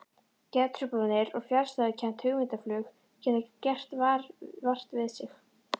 Geðtruflanir og fjarstæðukennt hugmyndaflug geta gert vart við sig.